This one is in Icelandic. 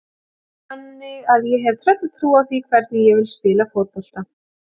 Þannig að ég hef tröllatrú á því hvernig ég vil spila fótbolta.